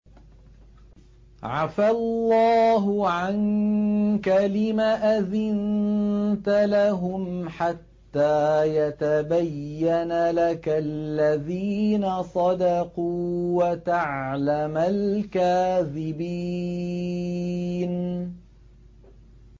عَفَا اللَّهُ عَنكَ لِمَ أَذِنتَ لَهُمْ حَتَّىٰ يَتَبَيَّنَ لَكَ الَّذِينَ صَدَقُوا وَتَعْلَمَ الْكَاذِبِينَ